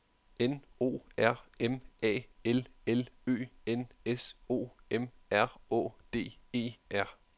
N O R M A L L Ø N S O M R Å D E R